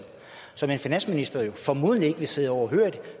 som en finansminister formodentlig ikke vil sidde overhørig